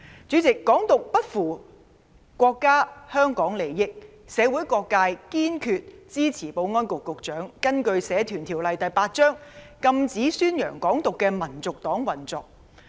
主席，"港獨"不符國家和香港的利益，社會各界堅決支持保安局局長根據《社團條例》第8條，禁止宣揚"港獨"的香港民族黨運作。